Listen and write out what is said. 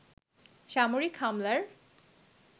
সামরিক হামলার